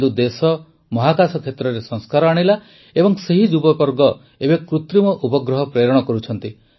କିନ୍ତୁ ଦେଶ ମହାକାଶ କ୍ଷେତ୍ରରେ ସଂସ୍କାର ଆଣିଲା ଏବଂ ସେହି ଯୁବବର୍ଗ ଏବେ କୃତ୍ରିମ ଉପଗ୍ରହ ପ୍ରେରଣ କରୁଛନ୍ତି